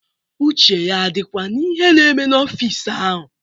Uche ya adịkwa n'ihe na-eme n'ọfịs ahụ?